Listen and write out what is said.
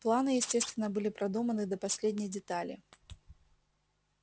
планы естественно были продуманы до последней детали